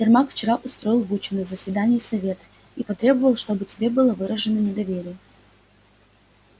сермак вчера устроил бучу на заседании совета и потребовал чтобы тебе было выражено недоверие